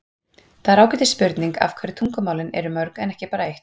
Það er ágætis spurning af hverju tungumálin eru mörg en ekki bara eitt.